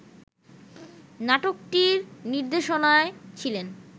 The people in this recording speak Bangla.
নাটকটির নির্দেশনায় ছিলেন